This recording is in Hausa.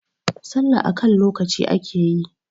sallah a kan lokaci ake yi!